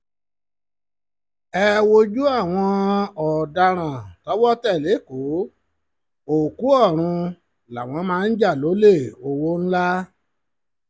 ẹ wojú àwọn ọ̀daràn tọwọ́ tẹ̀ lẹ́kọ̀ọ́ òkú ọ̀run làwọn máa ń jà lólè ọwọ́ ńlá